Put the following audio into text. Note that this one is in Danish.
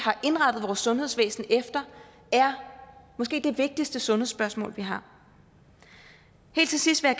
har sundhedsvæsen efter det er måske det vigtigste sundhedsspørgsmål vi har helt til sidst vil